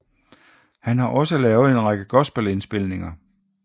Han har også lavet en række gospelindspilninger